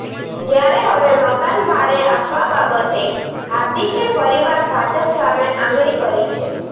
ત્યારે હવે મકાન ભાડે આપવા બાબતે હાર્દિકે ફરીવાર ભાજપ સામે આંગળી કરી છે